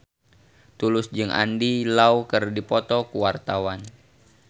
Tulus jeung Andy Lau keur dipoto ku wartawan